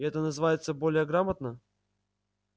и это называется более грамотно